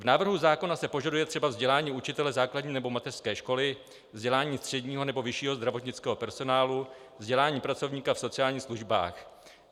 V návrhu zákona se požaduje třeba vzdělání učitele základní nebo mateřské školy, vzdělání středního nebo vyššího zdravotnického personálu, vzdělání pracovníka v sociálních službách.